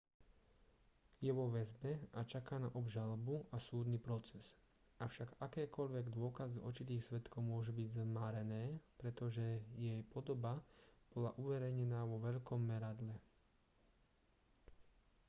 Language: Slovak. je vo väzbe a čaká na obžalobu a súdny proces avšak akékoľvek dôkazy očitých svedkov môžu byť zmarené pretože jej podoba bola uverejnená vo veľkom meradle